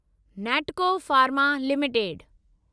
Natco Pharma limited